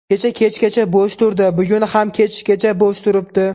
Kecha kechgacha bo‘sh turdi, bugun ham kechgacha bo‘sh turibdi.